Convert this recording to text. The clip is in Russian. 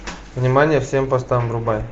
внимание всем постам врубай